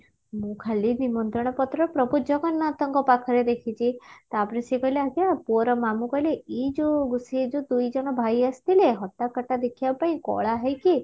ମୁଁ ଖାଲି ନିମନ୍ତ୍ରଣ ପତ୍ର ପ୍ରଭୁ ଜଗନ୍ନାଥଙ୍କ ପାଖରେ ଦେଖିଛି ତାପରେ ସେ କହିଲେ ଆଜ୍ଞା ପୁଅର ମାମୁଁ କହିଲେ ଏଇ ସିଏ ଯଉ ଦୁଇଜଣ ଭାଇ ଆସିଥିଲେ ହଟ୍ଟା କଟ୍ଟା ଦେଖିବା ପାଇଁ କଳା ହେଇକି